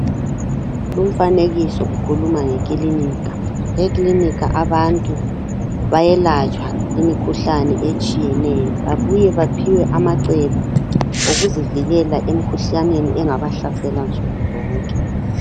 Lumfanekiso ukhuluma ngikilinika. Eklinika abantu bayelatshwa imikhuhlane etshiyeneyo, babuye baphiwe amacebo okuzivikela emkhuhlaneni engabahlasela nsuku zonke.